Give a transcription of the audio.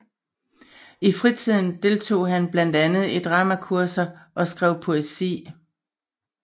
I fritiden deltog han blandt andet i dramakurser og skrev poesi